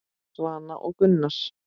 Svana og Gunnar.